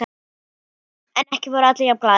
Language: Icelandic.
En ekki voru allir jafn glaðir.